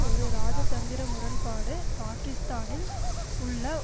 ஒரு இராஜதந்திர முரண்பாடு பாக்கிஸ்தானில் உள்ள